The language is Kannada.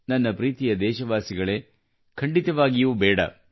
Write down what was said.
ನನ್ನ ಪ್ರೀತಿಯ ದೇಶವಾಸಿಗಳೇ ಖಂಡಿತವಾಗಿಯೂ ಬೇಡ